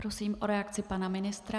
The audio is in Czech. Prosím o reakci pana ministra.